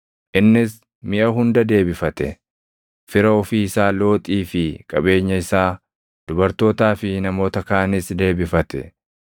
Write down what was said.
Innis miʼa hunda deebifate; fira ofii isaa Looxii fi qabeenya isaa, dubartootaa fi namoota kaanis deebifate.